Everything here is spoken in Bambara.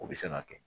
O bɛ se ka kɛ